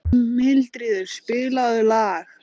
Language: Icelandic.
Mildríður, spilaðu lag.